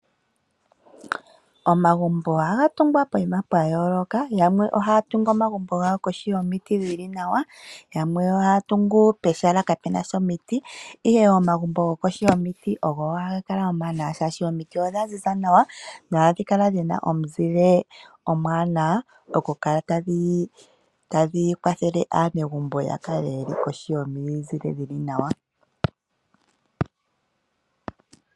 Omagumbo ohaga tungwa poyima pwa yoooka. Yamwe ohaya tungu omagumbo gawo kohi yomiti dhili nawa, yamwe ohaya tungu pehala kapuna sha omiti. Ihe omagumbo go kohi yomiti ogo haga kala omawanawa oshoka omiti odha ziza nawa no hadhi kala dhina omuzile omuwanawa okukala tadhi kwathele aanegumbo ya kale kohi yomizile dhili nawa.